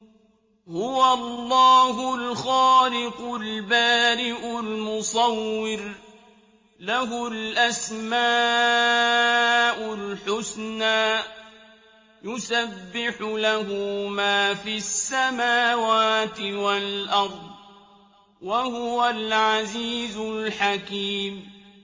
هُوَ اللَّهُ الْخَالِقُ الْبَارِئُ الْمُصَوِّرُ ۖ لَهُ الْأَسْمَاءُ الْحُسْنَىٰ ۚ يُسَبِّحُ لَهُ مَا فِي السَّمَاوَاتِ وَالْأَرْضِ ۖ وَهُوَ الْعَزِيزُ الْحَكِيمُ